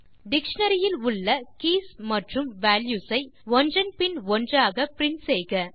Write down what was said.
dictionary இல் உள்ள keys மற்றும் வால்யூஸ் ஐ ஒன்றன் பின் ஒன்றாக பிரின்ட் செய்க